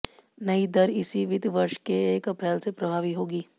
नई दर इसी वित्त वर्ष के एक अप्रैल से प्रभावी होगी